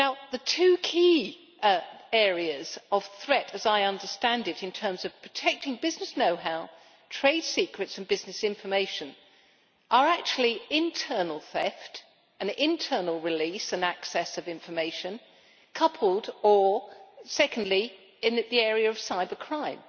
The two key areas of threat, as I understand it, in terms of protecting business know-how, trade secrets and business information, are actually internal theft and internal release and access of information, coupled or, secondly in the area of cybercrime.